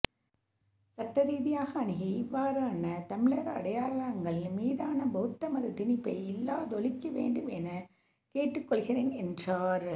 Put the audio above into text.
சட்டரீதியாக அணுகி இவ்வாறான தமிழர் அடையாளங்கள் மீதான பௌத்த மத திணிப்பை இல்லாதொழிக்க வேண்டும் எனக் கேட்டுக் கொள்கின்றேன் என்றார்